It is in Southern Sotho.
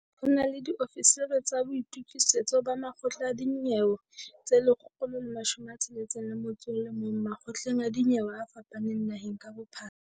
Ho na le diofisiri tsa boitukisetso ba makgotla a dinyewe tse 161 makgotleng a dinyewe a fapaneng naheng ka bophara.